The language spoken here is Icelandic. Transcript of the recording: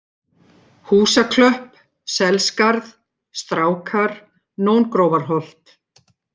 Húsaklöpp, Selskarð, Strákar, Nóngrófarholt